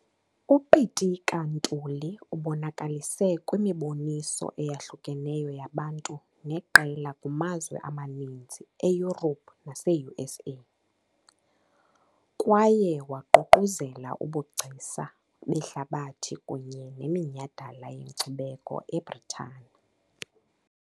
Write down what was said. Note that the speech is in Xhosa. UPitika Ntuli ubonakalise kwimiboniso eyahlukeneyo yabantu neqela kumazwe amaninzi e-Europe nase-USA, kwaye waququzelela ubugcisa behlabathi kunye neminyhadala yenkcubeko eBritane.